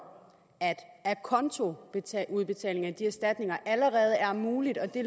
at acontoudbetalinger af de erstatninger allerede er muligt og at det